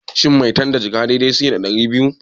Shin maitan da jaka dai dai suke da ɗari biyu?